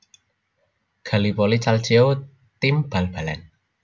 Gallipoli Calcio tim bal balan